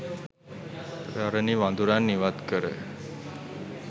පැරණි වඳුරන් ඉවත්කර